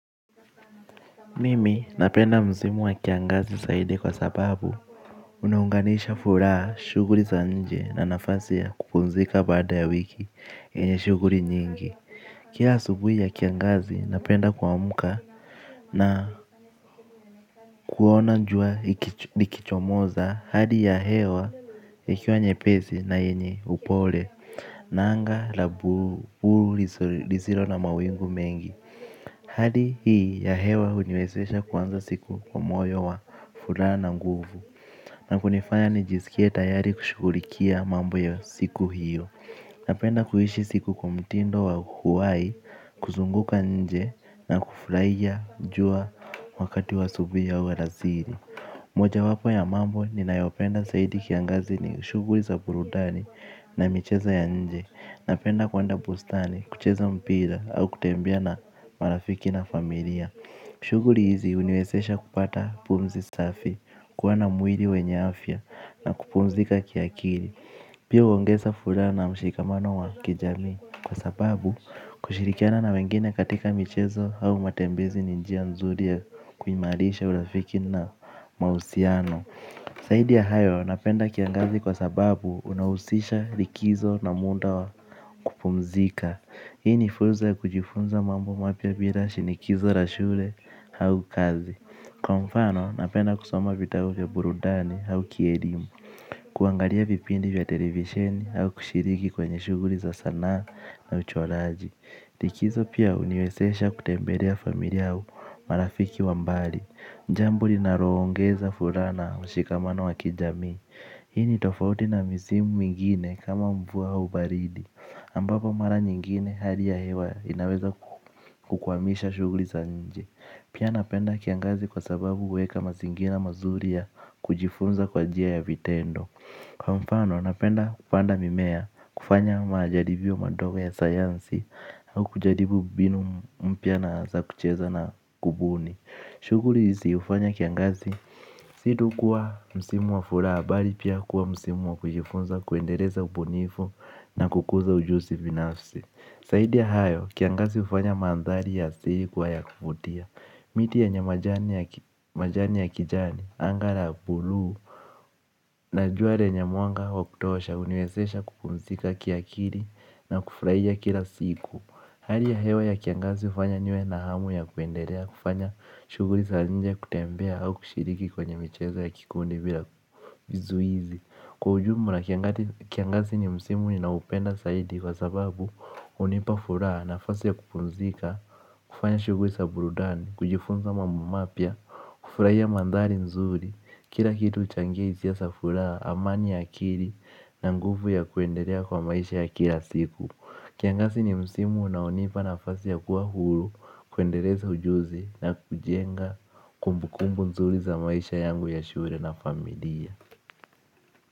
Mimi napenda msimu wa kiangazi zaidi kwa sababu unaunganisha furaha shughuli za nje na nafasi ya kupumzika baada ya wiki zenye shughuli nyingi kila asubuhi ya kiangazi napenda kuamka. Na kuona jua likichomoza hali ya hewa iliwa nyepesi na yenye upole. Na anga la blue lisilo na mawingu mengi. Hadi hii ya hewa huniwezesha kuanza siku kwa moyo wa furaha na nguvu. Na hunifanya nijisikie tayari kushughulikia mambo ya siku hiyo. Napenda kuishi siku kwa mtindo wa kuwahi, kuzunguka nje na kufurahia jua wakati wa asubuhii au alasiri. Moja wapo ya mambo ninayopenda zaidi kiangazi ni shughuli za burudani na michezo ya nje. Napenda kuandaa bustani, kucheza mpira au kutembea na marafiki na familia. Shughulii hizi huniwezesha kupata pumzi safi. Kuwa na mwili wenye afya na kupumzika kiakili. Pia huongeza furaha mshikamano wa kijamii. Kwa sababu kushirikiana na wengine katika michezo au matembezi ni njia nzuri ya kuimarisha urafiki na mahusiano zaidi ya hayo napenda kiangazi kwa sababu unahusisha likizo na muda wa kupumzika. Hii ni fursa ya kujifunza mambo mapya bila shinikizo la shule au kazi. Kwa mfano napenda kusoma vitabu vya burundani au kielimu. Kuangalia vipindi vya television au kushiriki kwenye shughuli za sanaa na uchoraji. Likizo pia huniwezesha kutembelea familia au marafiki wa mbali ni jambo linaongeza furaha na mshikamano wa kijamii. Hi ni tofauti na misimu mingine kama mvua au baridi ambapo mara nyingine hali ya hewa inaweza kukuamisha shughuli za nje. Pia napenda kiangazi kwa sababu huweka mazingira mazuri ya kujifunza kwa njia ya vitendo. Kwa mfano napenda kupanda mimea kufanya majaribio madogo ya sayansi. Au kujaribu mbinu mpya za kucheza na kubuni. Shughuli isiyofanya kiangazi si tu kuwa msimu wa furaha bali pia kuwa msimu wa kujifunza kuendeleza ubunifu na kukuza ujuzi binafsi zaidi ya hayo kiangazi hufanya mandhari ya siku kuwa ya kuvutia. Miti yenye majani ya kijani anga la bluu na jua lenye mwanga wa kutosha huniwezesha kupumzika kiakili na kufurahia kila siku. Hali ya hewa ya kiangazi hufanya niwe na hamu ya kuendelea kufanya shughuli za nje kutembea au kushiriki kwenye michezo ya kikundi bila vizuizi. Kwa ujumla kiangazi ni msimu ninaoupenda zaidi kwa sababu hunipa furaha na nafasi ya kupumzika. Kufanya shughuli zai burudani, kujifunza mambo mapya, kufurahia mandhari nzuri kila kitu huchangia hisia za furaha, amani ya akili na nguvu ya kuendelea kwa maisha ya kila siku. Kiangazi ni msimu unaonipa nafasi ya kuwa huru kuendeleza ujuzi na kujenga kumbukumbu nzuri za maisha yangu ya shule na familia.